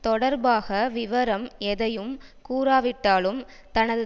தொடர்பாக விவரம் எதையும் கூறாவிட்டாலும் தனது